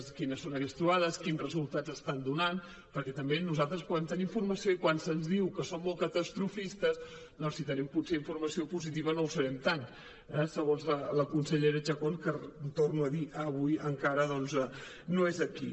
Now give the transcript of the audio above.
quines són aquestes trobades quins resultats estan donant perquè també nosaltres puguem tenir informació i quan se’ns diu que som molt catastrofistes si tenim potser informació positiva no ho serem tant eh segons la consellera chacón que ho torno a dir avui encara no és aquí